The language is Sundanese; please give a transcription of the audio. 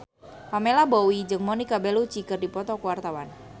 Pamela Bowie jeung Monica Belluci keur dipoto ku wartawan